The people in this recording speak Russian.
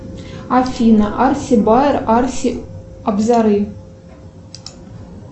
афина арси баер арси абзары